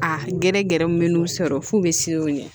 A gɛrɛ gɛrɛw min n'u sɔrɔ f'u bɛ siran o ɲɛ